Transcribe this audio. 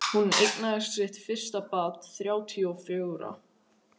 Hún eignaðist sitt fyrsta barn þrjátíu og fjögurra.